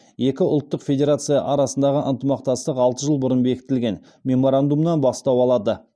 екі ұлттық федерация арасындағы ынтымақтастық алты жыл бұрын бекітілген меморандумнан бастау алады